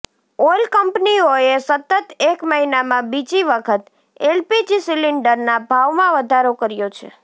oil કંપનીઓએ સતત એક મહિનામાં બીજી વખત એલપીજી સિલિન્ડરના ભાવમાં વધારો કર્યો છે